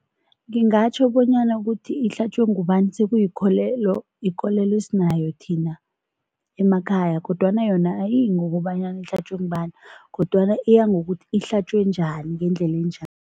Ngingatjho bonyana ukuthi ihlatjwe ngubani sekuyikolelo, yikolelo esinayo thina emakhaya kodwana yona ayiyi ngokobanyana ihlatjwe ngubani kodwana iyangokuthi ihlatjwe njani ngendlela enjani.